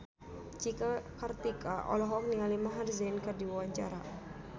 Cika Kartika olohok ningali Maher Zein keur diwawancara